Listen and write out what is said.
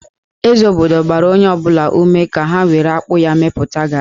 Eze obodo gbara onye ọ bụla ume ka ha were akpụ ya mepụta gari